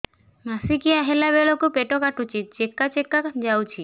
ମାସିକିଆ ହେଲା ବେଳକୁ ପେଟ କାଟୁଚି ଚେକା ଚେକା ଯାଉଚି